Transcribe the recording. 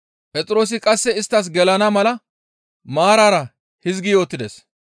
Phexroosi qasse isttas gelana mala maarara hizgi yootides.